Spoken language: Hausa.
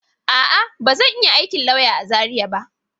A'a, ba zan yi aikin lauya a Zariya ba.